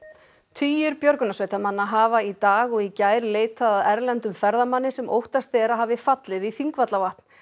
tugir björgunarsveitarmanna hafa í dag og í gær leitað að erlendum ferðamanni sem óttast er að hafi fallið í Þingvallavatn